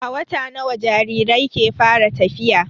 A wata nawa jarirai ke fara tafiya?